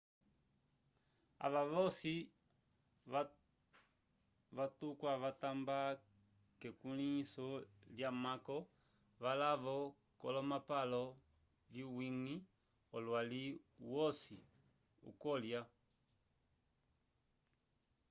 ava voci vatukwya vatamba kekwĩlinso lyamako valavo colomapalo viwingi olwalli uhoci uhokulya